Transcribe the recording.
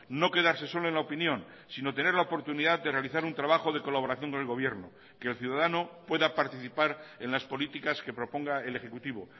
no quedarse solo en la opinión sino tener la oportunidad de realizar un trabajo de colaboración con el gobierno que el ciudadano pueda participar en las políticas que proponga el ejecutivo